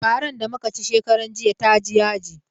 Faran da muka ci shekaran jiya ta ji yaji.